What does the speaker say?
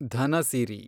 Dhanasiri